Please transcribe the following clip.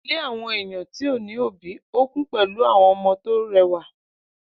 Ile àwọn eyan ti ọ ni obi ọ kun pele àwọn ọmọ to rẹwa